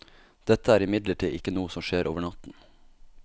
Dette er imidlertid ikke noe som skjer over natten.